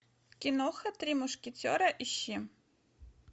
киноха три мушкетера ищи